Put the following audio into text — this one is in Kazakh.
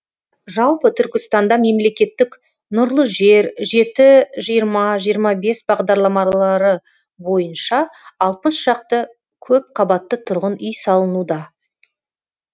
жалпы түркістанда мемлекеттік нұрлы жер жеті жиырма жиырма бес бағдарламалары бойынша алпыс шақты көпқабатты тұрғын үй салынуда